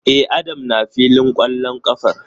E, Adam na filin kwallon kafar.